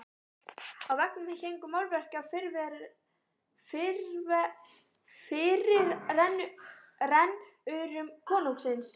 Á veggjum héngu málverk af fyrirrennurum konungsins.